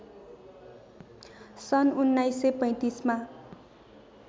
सन् १९३५ मा